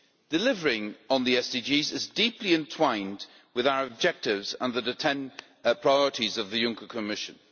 Delivering on the SDGs is deeply entwined with our objectives under the 10 priorities of the Juncker Commission.